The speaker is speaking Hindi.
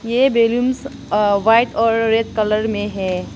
ये बेलूंस अह वाइट और रेड कलर में है।